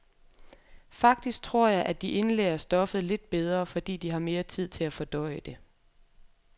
Faktisk tror jeg, at de indlærer stoffet lidt bedre, fordi de har mere tid til at fordøje det.